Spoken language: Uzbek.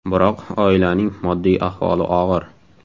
Biroq oilaning moddiy ahvoli og‘ir.